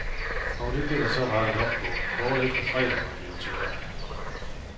Og det blev der så rettet op på, kort efter fredag var blevet til lørdag.